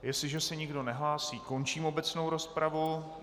Jestliže se nikdo nehlásí, končím obecnou rozpravu.